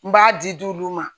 N b'a di di dulu ma